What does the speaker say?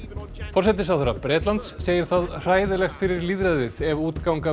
forsætisráðherra Bretlands segir það hræðilegt fyrir lýðræðið ef útganga